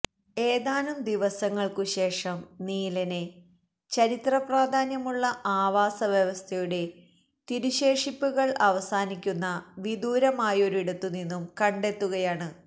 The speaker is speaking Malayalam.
ഏതാനും ദിവസങ്ങൾക്കു ശേഷം നീലനെ ചരിത്ര പ്രാധാന്യമുള്ള ആവാസ വ്യവസ്ഥയുടെ തിരുശേഷിപ്പുകൾ അവസാനിക്കുന്ന വിദൂരമായൊരിടത്തു നിന്നും കണ്ടെത്തുകയാണ്